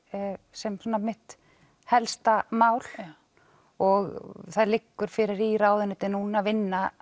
sem mitt helsta mál og það liggur fyrir í ráðuneytinu núna að vinna